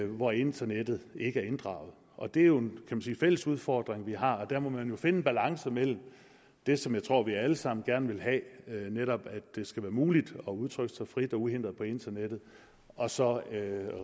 hvor internettet ikke er inddraget og det er jo en fælles udfordring vi har der må man finde en balance mellem det som jeg tror vi alle sammen gerne vil have netop at det skal være muligt at udtrykke sig frit og uhindret på internettet og så